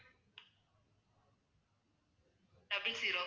double zero